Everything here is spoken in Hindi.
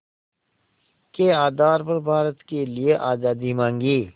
के आधार पर भारत के लिए आज़ादी मांगी